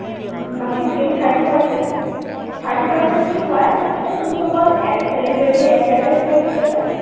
বাকী থাকিলে thirty percent thirty percent কি হয়, এই যোনসকল celebrity, advertise কৰি থাকে যেন,